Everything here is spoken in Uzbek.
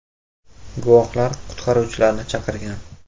Guvohlar qutqaruvchilarni chaqirgan.